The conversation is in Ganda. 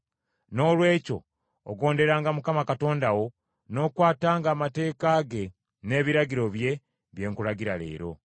Noolwekyo ogonderanga Mukama Katonda wo n’okwatanga amateeka ge n’ebiragiro bye, bye nkulagira leero.”